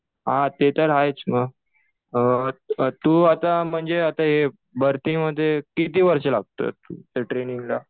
हा ते तर आहेच ना. तु आता म्हणजे भरतीमध्ये किती वर्ष लागतात ट्रेनिंगला?